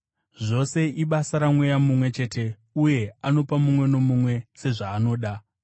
Zvose ibasa raMweya mumwe chete uye anopa mumwe nomumwe, sezvaanoda.